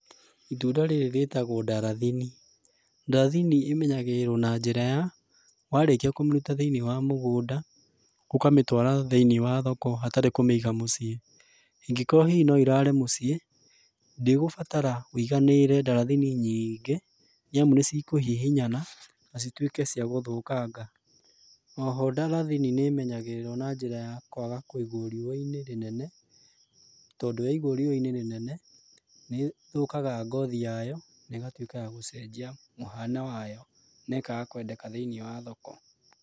Itunda rĩrĩ rĩtagũo ndarathini. Ndarathini ĩmenyagĩrĩrũo na njĩra ya, warĩkia kũmĩruta thĩiniĩ wa mũgũnda, ũkamĩtwara thĩiniĩ wa thoko hatarĩ kũmĩiga mũciĩ. Ingĩkorwo hihi no ĩrare mũciĩ, ndĩgũbatara wĩiganĩrĩre ndarathini nyiingĩ, nĩamu nĩcikũhihinyana, na cituĩke cia gũthũkanga. Oho ndarathini nĩmenyagĩrĩrũo na njĩra ya kwaga kũigũo rĩũwa-inĩ rĩnene, tondũ yaigũo riũwa-inĩ rĩnene, nĩthũkaga ngothi yayo, na ĩgatuĩka ya gũcenjia mũhano wayo, na ĩkaga kwendeka thĩiniĩ wa thoko.